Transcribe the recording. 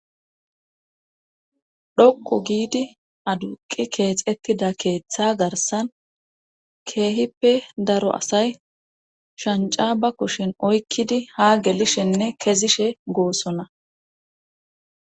Dhoqqu giidi aduqqi keexettida keetha garssan keehippe daro asay shncca ba kushen oyqqidi haa gelishenne kezishe goosona